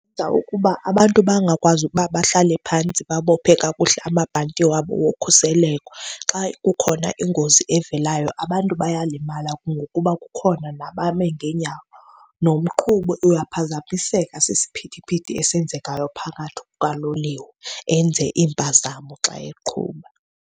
Kwenza ukuba abantu bangakwazi ukuba bahlale phantsi babophe kakuhle amabhanti wabo wokhuseleko. Xa kukhona ingozi evelayo abantu bayalimala ngokuba kukhona nabame ngeenyawo. Nomqhubi uyaphazamiseka sisiphithiphithi esenzekayo phakathi kukaloliwe, enze iimpazamo xa eqhuba.